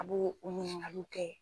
A bɛ u ɲiningaliw kɛ